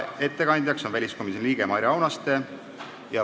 Ettekandja on väliskomisjoni liige Maire Aunaste.